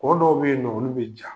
Kɔ dɔw be yennɔ olu be ja.